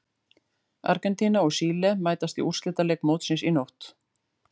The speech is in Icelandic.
Argentína og Síle mætast í úrslitaleik mótsins í nótt.